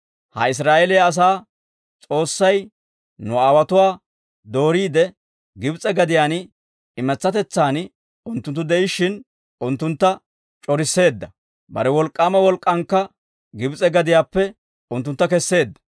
Ha Israa'eeliyaa asaa S'oossay nu aawotuwaa dooriide, Gibs'e gadiyaan imatsatetsaan unttunttu de'ishshin, unttuntta c'orisseedda; bare wolk'k'aama wolk'k'aankka Gibs'e gadiyaappe unttuntta kesseedda.